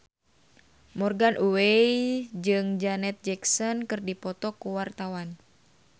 Morgan Oey jeung Janet Jackson keur dipoto ku wartawan